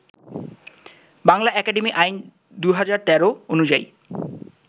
Bangla Academy আইন ২০১৩ অনুযায়ী